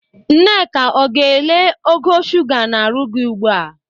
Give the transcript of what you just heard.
Nneka, ọ ga-ele ogo shuga n'arụ gi ugbu a?